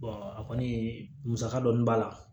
a kɔni musaka dɔɔni b'a la